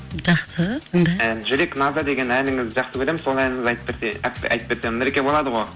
жақсы тыңдайық жүрек назы деген әніңізді жақсы көремін сол әніңізді айтып берсе айтып берсем нұреке болады ғой